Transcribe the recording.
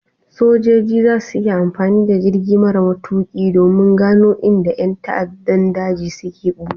Sojoji za su yi amfani da jirgi mara matuƙi domin gano inda ƴan ta'addan daji suke ɓuya.